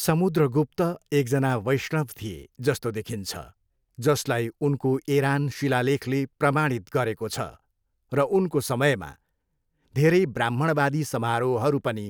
समुद्रगुप्त एकजना वैष्णव थिए जस्तो देखिन्छ जसलाई उनको एरान शिलालेखले प्रमाणित गरेको छ र उनको समयमा धेरै ब्राह्मणवादी समारोहहरू पनि